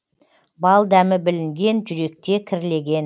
бал дәмі білінген жүректе кірлеген